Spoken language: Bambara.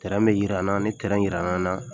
bɛ jira an na ni jirala an na